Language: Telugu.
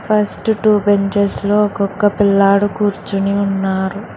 ఫస్ట్ టూ బెంచెస్ లో ఒక్కొక పిల్లాడు కూర్చుని ఉన్నారు.